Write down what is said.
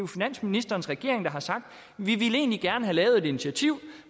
finansministerens regering der har sagt vi ville egentlig gerne have lavet et initiativ